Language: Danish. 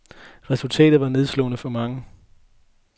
Resultatet var nedslående for mange.